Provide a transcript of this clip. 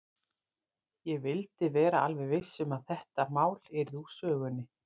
Ég vildi vera alveg viss um að þetta mál yrði úr sögunni.